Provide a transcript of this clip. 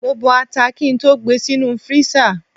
Mo bọ ata kí n tó gbe sínú freezer.